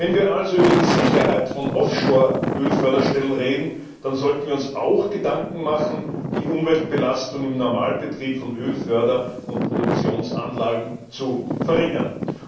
Wenn wir also über die Sicherheit von Offshore Ölförderstellen reden, dann sollten wir uns auch Gedanken machen, die Umweltbelastung im Normalbetrieb von Ölförder und produktionsanlagen zu verringern.